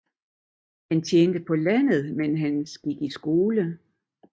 Han tjente på landet mens han gik skole